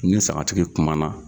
N ni sagatigi kuma na